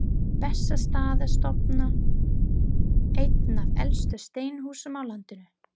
Bessastaðastofa, eitt af elstu steinhúsum á landinu.